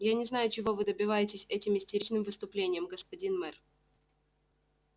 я не знаю чего вы добиваетесь этим истеричным выступлением господин мэр